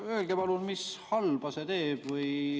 Öelge palun, mis halba see teeb.